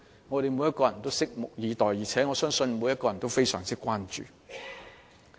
我們每個人均拭目以待，而我亦相信每個人亦對此非常關注。